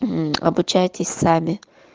мм обучаетесь сами